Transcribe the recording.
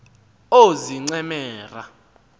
oozincemera